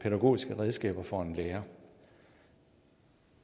pædagogiske redskaber for en lærer